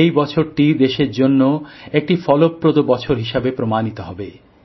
এই বছরটি দেশের জন্য একটি ফলপ্রদ বছর হিসাবে প্রমাণিত হবে